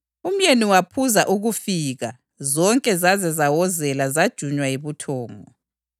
Umyeni waphuza ukufika zonke zaze zawozela zajunywa yibuthongo.